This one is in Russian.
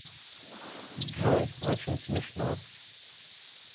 джой очень смешно